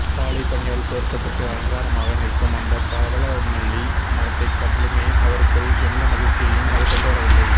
காலைப் பனியால் போர்த்தப்பட்டு அலங்காரமாக நிற்கும் அந்தப் பவழமல்லி மரத்தைக் கண்டுமே அவருக்குள் எந்த மகிழ்ச்சியையும் அது கொண்டுவரவில்லை